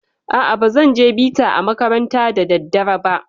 A'a, bazan je bita a makaranta da daddare ba.